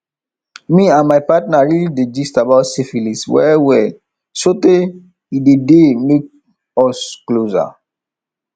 me and my partner really dey gist about syphilis well well sotey e dey dey make us dey closer